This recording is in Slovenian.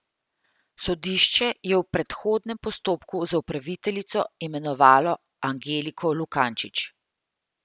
Sodišče je v predhodnem postopku za upraviteljico imenovalo Angeliko Lukančič.